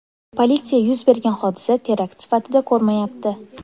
Politsiya yuz bergan hodisa terakt sifatida ko‘rmayapti.